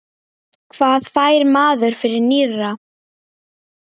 Hvað fær maður fyrir nýra?